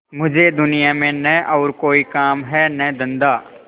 मुझे दुनिया में न और कोई काम है न धंधा